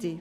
DTT